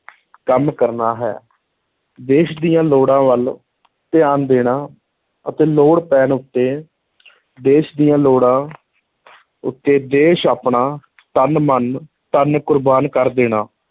ਕੰਮ ਕਰਨਾ ਹੈ, ਦੇਸ਼ ਦੀਆਂ ਲੋੜਾਂ ਵੱਲ ਧਿਆਨ ਦੇਣਾ ਅਤੇ ਲੋੜ ਪੈਣ ਉੱਤੇ ਦੇਸ਼ ਦੀਆਂ ਲੋੜਾਂ ਉੱਤੇ ਦੇਸ਼ ਆਪਣਾ ਤਨ, ਮਨ, ਧਨ ਕੁਰਬਾਨ ਕਰ ਦੇਣਾ।